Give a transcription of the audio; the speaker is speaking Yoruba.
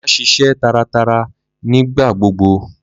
Ma sise tàratara ni gbaogbo!